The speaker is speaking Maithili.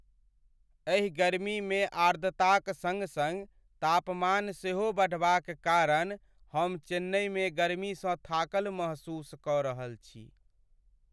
एहि गर्मीमे आर्द्रताक सङ्ग सङ्ग तापमान सेहो बढ़बाक कारण हम चेन्नइमे गर्मीसँ थाकल महसूस कऽ रहल छी।